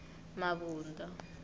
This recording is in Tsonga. mabunda